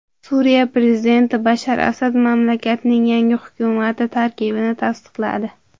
Suriya prezidenti Bashar Asad mamlakatning yangi hukumati tarkibini tasdiqladi.